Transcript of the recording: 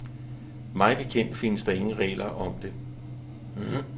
Mig bekendt findes der ingen regler om det.